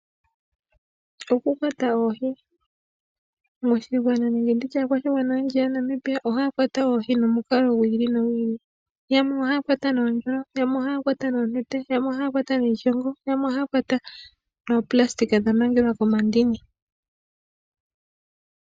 Okukwata oohi, aakwashigwana oyendji yaNamibia ohayakwata oohi nomikalo dhiili, yamwe ohayakwata noondjolo, yamwe ohayakwata noonete, yamwe ohayakwata niishongo, yamwe ohayakwata noo nayolina dhamangelwa komandini.